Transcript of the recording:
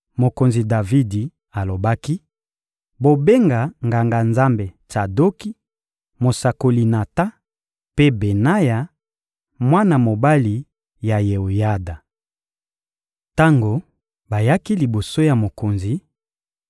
Mokonzi Davidi alobaki: — Bobenga Nganga-Nzambe Tsadoki, mosakoli Natan mpe Benaya, mwana mobali ya Yeoyada. Tango bayaki liboso ya mokonzi,